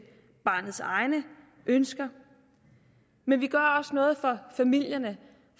barnets egne ønsker men vi gør også noget for familierne